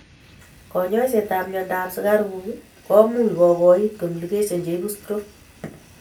Konyoiset ab myondo ab sukaruk komuch kogoit complications cheibu stroke